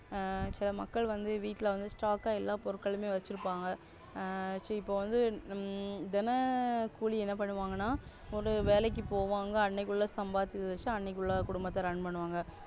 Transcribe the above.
மக்கள் வந்து வீட்ல வந்து Stock எல்லா பொருட்களும் வச்சிருப்பாங்க இப்போ வந்து தின கூலி என்ன பண்ணுவாங்கனா ஒரு வேலைக்கு போவாங்க அன்னைக்குள்ள சம்பாதிச்சது வச்சு அன்னைக்குள்ள குடும்பத்தா Run பண்ணுவாங்க.